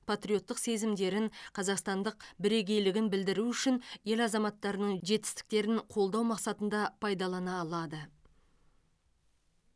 патриоттық сезімдерін қазақстандық бірегейлігін білдіру үшін ел азаматтарының жетістіктерін қолдау мақсатында пайдалана алады